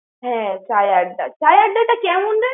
হ্যাঁ, Chai Adda, Chai Adda কেমন রে?